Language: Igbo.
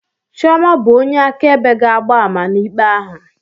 Chiọma bụ onye akaebe ga-agba ama n'ikpe ahụ